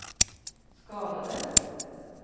skadades